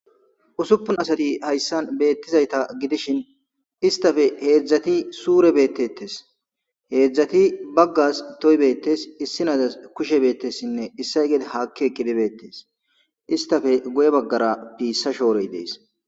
Usupun asati haysan beettizayta gidishin istape heedzdzati sure betetes heedzdzati bagas toy betes issi nazas kushe betesinne issay gede haki eqidi betes istape guye bagara pisa shoroy dees.